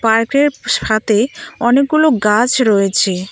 পার্কের সাথে অনেকগুলো গাছ রয়েছে।